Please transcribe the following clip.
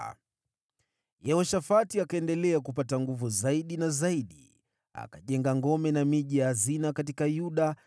Yehoshafati akaendelea kupata nguvu zaidi na zaidi, akajenga ngome na miji ya hazina katika Yuda